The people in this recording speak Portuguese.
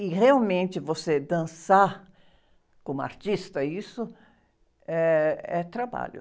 E realmente você dançar como artista, isso eh, é trabalho.